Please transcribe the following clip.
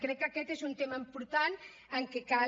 crec que aquest és un tema important en què cal